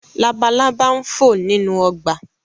Labalaba n fo ninu ọgba